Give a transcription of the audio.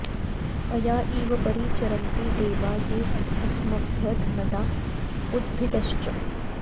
अया॑ इव॒ परि॑ चरन्ति दे॒वा ये अ॒स्मभ्यं॑ धन॒दा उ॒द्भिद॑श्च